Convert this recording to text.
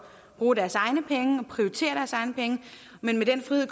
prioritere deres egne penge men med den frihed